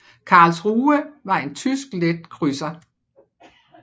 Karlsruhe var en tysk let krydser